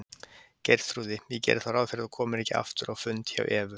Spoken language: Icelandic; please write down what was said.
Geirþrúði, ég geri þá ráð fyrir að þú komir ekki aftur á fund hjá Evu.